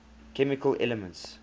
chemical elements